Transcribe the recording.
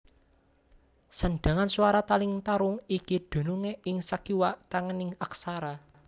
Sandhangan swara taling tarung iki dunungé ing sakiwa tengening aksara